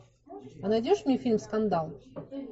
а найдешь мне фильм скандал